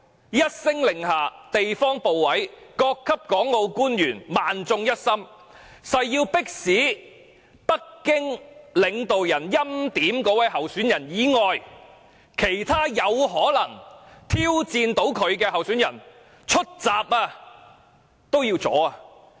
一聲令下，地方部委、各級港澳官員萬眾一心，誓要迫使有可能挑戰北京領導人所欽點的那位候選人的其他候選人出閘，加以阻攔。